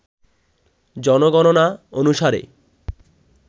জনগণনা অনুসারে